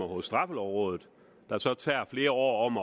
hos straffelovrådet der så er flere år om